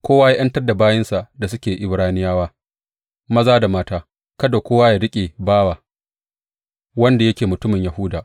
Kowa ya ’yantar da bayinsa da suke Ibraniyawa, maza da mata; kada kowa ya riƙe bawa wanda yake mutumin Yahuda.